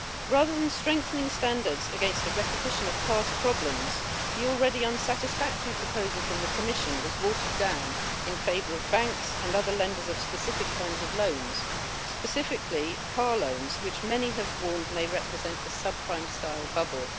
Rather than strengthening standards against a repetition of past problems, the already unsatisfactory proposal from the Commission was watered down in favour of banks and other lenders of specific kinds of loans, specifically car loans, which many have warned may represent a subprime-style bubble.